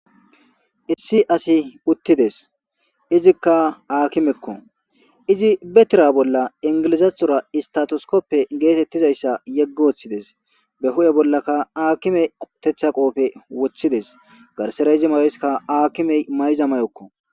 Issi asi puttides izikka aakimekko izi betira bolla ingilizathora istatoskoppe geetettizayssa yeggooththides be hu'e bollakka aakime qotetha qoofe woththides garsera izi mayeska aakimey mayza mayokko.